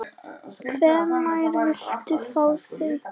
Hvenær viltu fá þau?